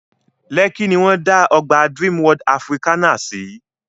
Lẹ́kí ní wọ́n dá ọgbà Dreamworld Africana sí